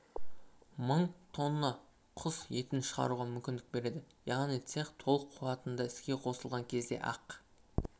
мың тонна құс етін шығаруға мүмкіндік береді яғни цех толық қуатында іске қосылған кезде ақ